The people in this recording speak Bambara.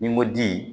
Ni n ko ji